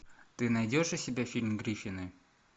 ты найдешь у себя фильм гриффины